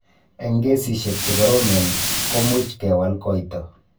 Eng' kesishek che koromen, ko much kewal koito.